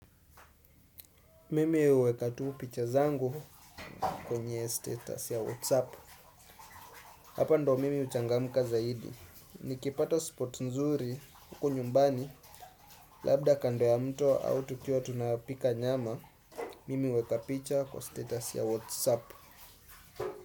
Mimi huweka tuu picha zangu kwenye status ya Whatsapp. Hapa ndo mimi huchangamka zaidi. Nikipata spot nzuri huku nyumbani labda kando ya mto au tukiwa tunapika nyama. Mimi uweka picha kwa status ya Whatsapp.